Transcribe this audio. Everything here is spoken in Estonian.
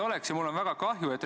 Jüri Jaanson, palun!